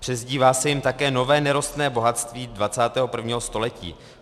Přezdívá se jim také nové nerostné bohatství 21. století.